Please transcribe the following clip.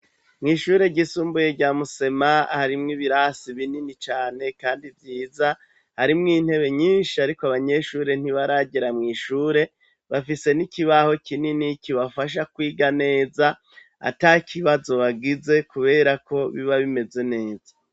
Mw'ishure ry'isumbuye rya Musema harimwo ibirasi binini cane kandi vyiza harimwo intebe nyinshi ariko abanyeshure ntibaragera mw'ishure, bafise n'ikibaho kinini kibafasha kwiga neza ata kibazo bagize kubera ko biba bimeze neza.